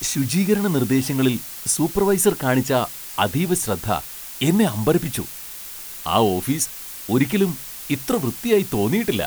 ശുചീകരണ നിർദ്ദേശങ്ങളിൽ സൂപ്പർവൈസർ കാണിച്ച അതീവ ശ്രദ്ധ എന്നെ അമ്പരപ്പിച്ചു. ആ ഓഫീസ് ഒരിക്കലും ഇത്ര വൃത്തിയായി തോന്നിയിട്ടില്ല!.